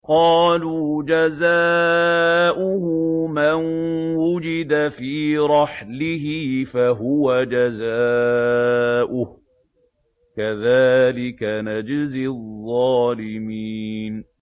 قَالُوا جَزَاؤُهُ مَن وُجِدَ فِي رَحْلِهِ فَهُوَ جَزَاؤُهُ ۚ كَذَٰلِكَ نَجْزِي الظَّالِمِينَ